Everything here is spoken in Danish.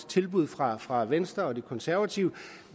tilbuddet fra fra venstre og de konservative